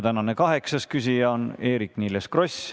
Tänane kaheksas küsija on Eerik-Niiles Kross.